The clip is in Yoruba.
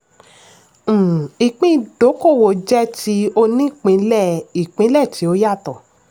um ìpín ìdókòwò jẹ́ ti onípínlẹ̀-ìpínlẹ̀ tí ó yàtọ̀.